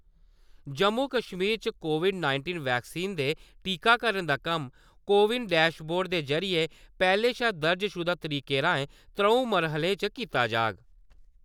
जम्मू-कश्मीर च COVID nineteen vaccine दे टीकाकरण दा कम्म कोविन डैशबोर्ड दे जरिए पैह्ले शा दर्जशुदा तरीके राएं त्र'ऊं मरहलें च कीता जाह्ग ।